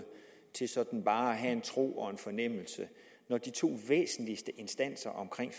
til sådan bare at have en tro og en fornemmelse når de to væsentligste instanser omkring